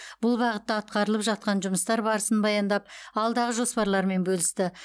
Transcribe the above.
бұл бағытта атқарылып жатқан жұмыстар барысын баяндап алдағы жоспарлармен бөлісті